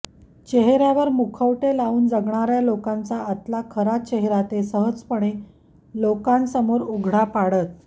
चेहऱ्यावर मुखवटे लावून जगणाऱ्या लोकांचा आतला खरा चेहरा ते सहजपणे लोकां समोर उघडा पाडत